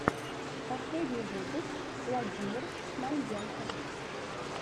последний выпуск владимир шмонденко